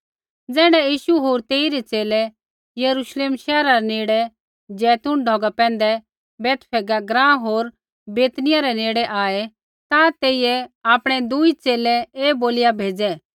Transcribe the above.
ज़ैण्ढै यीशु होर तेइरै च़ेले यरूश्लेम शैहरा रै नेड़े जैतून ढौगा पैंधै बैतफगे ग्राँ होर बैतनिय्याह रै नेड़े आऐ ता तेइयै आपणै दुई च़ेले ऐ बोलिया भेज़ै